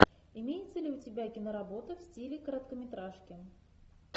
имеется ли у тебя киноработа в стиле короткометражки